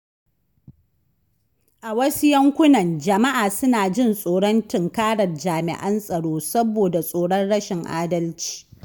A wasu yankunan, jama’a suna jin tsoron tunkarar jami’an tsaro saboda tsoron rashin adalci.